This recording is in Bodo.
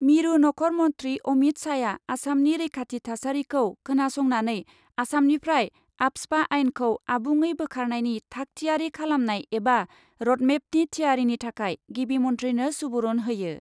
मिरु नखर मन्थ्रि अमित शाहआ आसामनि रैखाथि थासारिखौ खोनासंनानै आसामनिफ्राय आफ्सपा आइनखौ आबुङै बोखारनायनि थाग थियारि खालामनाय एबा रडमेपनि थियारिनि थाखाय गिबि मन्थ्रिनो सुबुरुन होयो।